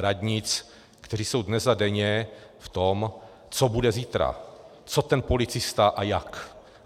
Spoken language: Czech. radnic, kteří jsou dnes a denně v tom, co bude zítra, co ten policista a jak.